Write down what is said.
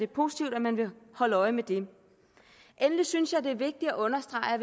positivt at man vil holde øje med det endelig synes jeg det er vigtigt at understrege at